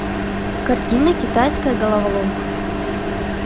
картина китайская головоломка